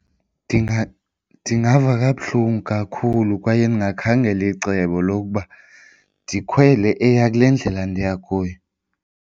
Ndingava kabuhlungu kakhulu kwaye ndingakhangela icebo lokuba ndikhwele eya kule ndlela ndiya kuyo.